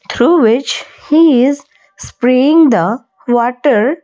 through which he is spraying the water.